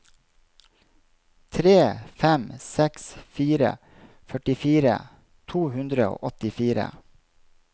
tre fem seks fire førtifire to hundre og åttifire